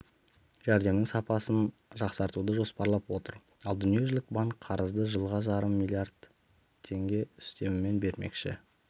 жәрдемнің сапасын жақсартуды жоспарлап отыр ал дүниежүзілік банк қарызды жылға жарым миллиард теңге үстемемен бермекші